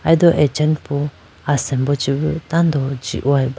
aido achanupu asimbo chibu tando jihoyiba.